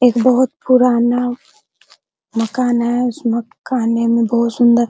एक बहुत पुराना मकान है उस मकाने में बहुत सुंदर --